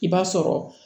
I b'a sɔrɔ